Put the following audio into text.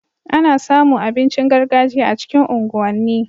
Ana samu abincin gargajiya a cikin unguwan ni